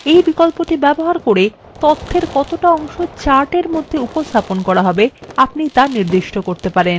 এই বিকল্পটি ব্যবহার করে তথ্যের কতটা অংশ chartএর মধ্যে উপস্থাপন করা হবে তা নির্দিষ্ট করতে পারবেন